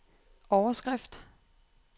overskrift